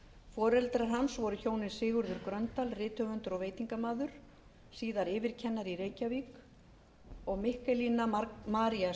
foreldrar hans voru hjónin sigurður gröndal rithöfundur og veitingamaður síðar yfirkennari í reykjavík og mikkelína maría